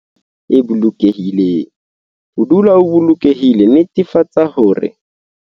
Latela dikeletso tsena ho netefatsa hore wena le baratuwa ba hao le ba le nako e monate, e bolokehileng. Ho dula o bolokehile, netefatsa hore.